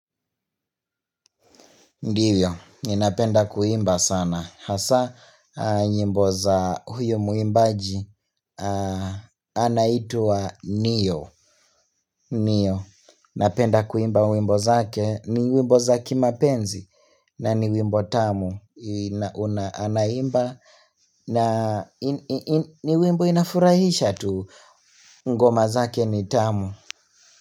Ndio, ninapenda kuimba sana. Hasa, nyimbo za huyo mwimbaji, anaitwa Nio. Nio, napenda kuimba wimbo zake. Ni wimbo za kimapenzi, na ni wimbo tamu. Anaimba, na ni wimbo inafurahisha tu. Ngoma zake ni tamu.